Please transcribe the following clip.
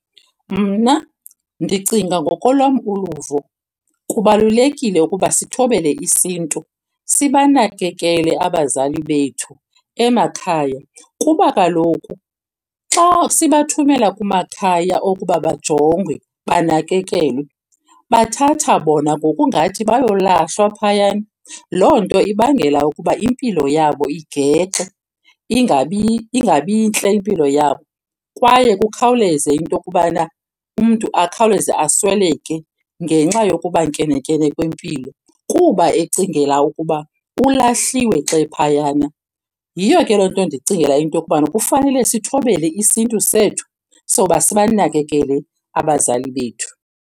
Mna ndicinga ngokolwam uluvo kubalulekile ukuba sithobele isiNtu sibanakekele abazali bethu emakhaya. Kuba kaloku xa sibathumela kumakhaya okuba bajongwe, banakekelwe, bathatha bona ngokungathi bayolahlwa phayana. Loo nto ibangela ukuba impilo yabo igexe ingabi ntle impilo yabo. Kwaye kukhawuleze into yokubana umntu akhawuleze asweleke ngenxa yokuba nkene-nkene kwempilo kuba ecingela ukuba ulahliwe xa ephayana. Yiyo ke loo nto ndicingela into yokubana kufanele sithobele isiNtu sethu soba sibanakekele abazali bethu.